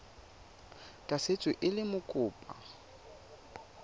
tla tsewa e le mokopa